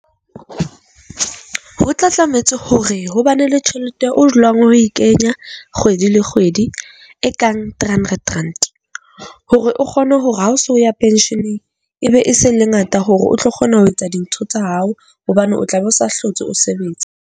Ho tla tlametse hore ho ba ne le tjhelete o dulang o e kenya kgwedi le kgwedi ekang three hundred rand. Hore o kgone hore ha o so ya pension-eng ebe e seng le ngata hore o tlo kgona ho etsa dintho tsa hao hobane o tlabe o sa hlotse o sebetse .